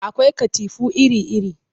Akwai katifu iri-iri